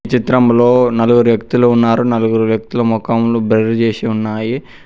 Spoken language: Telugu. ఈ చిత్రంలో నలుగురు వ్యక్తులు ఉన్నారు నలుగురు వ్యక్తుల మొఖంలు బ్రర్ చేసి ఉన్నాయి.